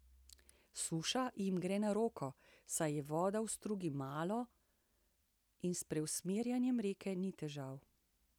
Suša jim gre na roko, saj je vode v strugi malo in s preusmerjanjem reke ni težav.